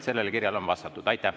Sellele kirjale on vastatud.